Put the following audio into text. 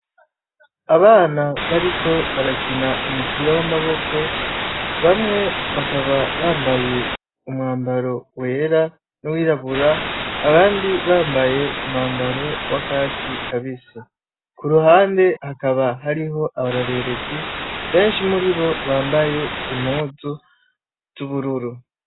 Abana bariko barakina umupira w'amaboko. Bamwe bakaba bambaye umwambaro wera n'uwirabura abandi bambaye umwambaro w'akatsi kabisi. Ku ruhande hakaba hariho abarorerezi, benshi muri bo bambaye impuzu z'ubururu.